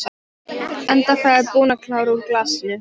Enda þegar búin að klára úr glasinu.